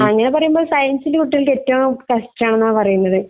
അങ്ങനെ പറയുമ്പോ സയൻസിലെ കുട്ടികളുടെ ഏറ്റോം കഷ്ടാണെന്ന് പറയണത്